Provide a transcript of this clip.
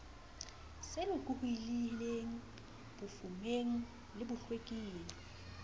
se lokolohileng bofumeng le bohloking